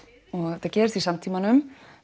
þetta gerist í samtímanum